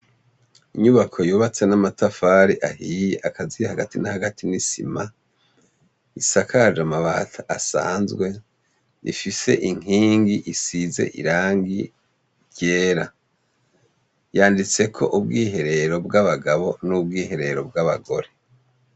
Inyubako yubatse n'amatafari ahiye akaziye hagati n'a hagati n'isima isakaje amabati asanzwe ifise inkingi isize irangi ryera yanditse ko ubwiherero bw'abagabo n'ubwiherero bw'abagore.